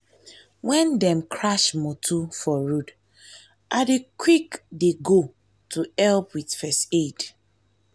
when dem crash motor for road i dey quick dey go to help with first aid.